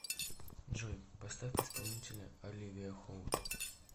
джой поставь исполнителя оливия холт